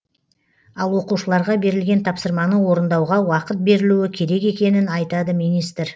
ал оқушыларға берілген тапсырманы орындауға уақыт берілуі керек екенін айтады министр